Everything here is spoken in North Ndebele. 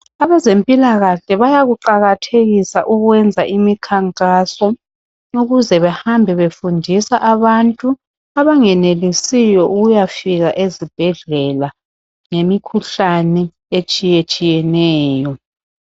Abezempilakahle bayakuqakathekisa ukwenza imikhankaso ukuze behambe befundisa abantu abangenelisiyo ukuyafika ezibhedlela ngemikhuhlane etshiyetshiyeneyo.